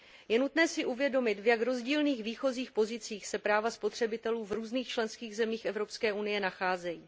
Je nutné si uvědomit, v jak rozdílných výchozích pozicích se práva spotřebitelů v různých členských zemích Evropské unie nacházejí.